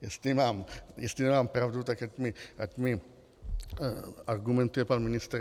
Jestli nemám pravdu, tak ať mi argumentuje pan ministr.